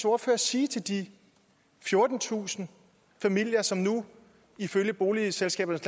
ordfører sige til de fjortentusind familier som nu ifølge boligselskabernes